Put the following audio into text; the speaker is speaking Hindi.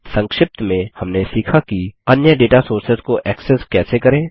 संक्षिप्त में हमने सीखा कि अन्य डेटा सोर्सेस को एक्सेस कैसे करें